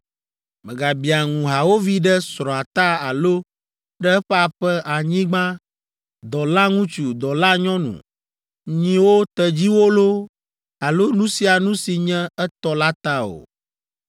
Mègabia ŋu hawòvi ɖe srɔ̃a ta alo ɖe eƒe aƒe, anyigba, dɔlaŋutsu, dɔlanyɔnu, nyiwo, tedziwo loo, alo nu sia nu si nye etɔ la ta o.”